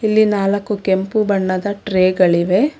ಇಲ್ಲಿ ನಾಲಕ್ಕು ಕೆಂಪು ಬಣ್ಣದ ಟ್ರೇ ಗಳಿವೆ.